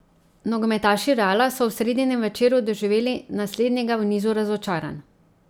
Nogometaši Reala so v sredinem večeru doživeli naslednjega v nizu razočaranj.